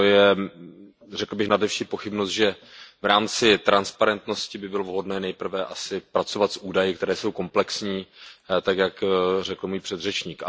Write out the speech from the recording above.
Je to, řekl bych, nad veškerou pochybnost, že v rámci transparentnosti by bylo vhodné nejprve asi pracovat s údaji, které jsou komplexní, tak jak řekl můj předřečník.